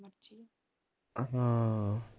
ਅ ਹਾਂ